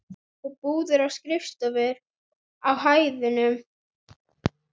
Og búðir og skrifstofur á hæðunum.